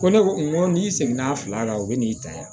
Ko ne ko n ko n'i seginna a fila la o bɛ n'i ta yan